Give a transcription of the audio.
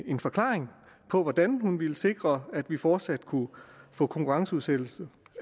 en forklaring på hvordan hun ville sikre at vi fortsat kunne få konkurrenceudsættelse